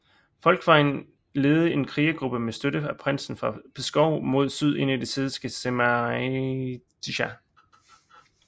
Volkwin ledede en krigergruppe med støtte fra prinsen af Pskov mod syd ind i det hedenske Žemaitija